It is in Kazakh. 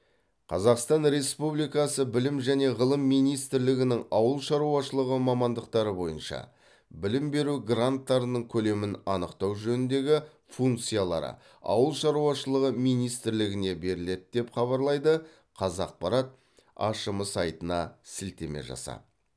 қазақстан республикасы білім және ғылым министрлігінің ауыл шаруашылығы мамандықтары бойынша білім беру гранттарының көлемін анықтау жөніндегі функциялары ауыл шаруашылығы министрлігіне беріледі деп хабарлайды қазақпарат ашм сайтына сілтеме жасап